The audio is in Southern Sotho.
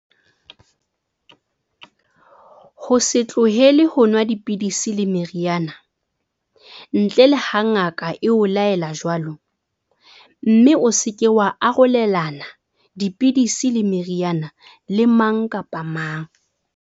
Ho se tlohele ho nwa dipidisi le meriana, ntle le ha ngaka e o laela jwalo, mme o se ke wa arolelana dipidisi le meriana le mang kapa mang.